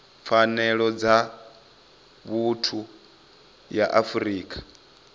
pfanelo dza vhuthu ya afrika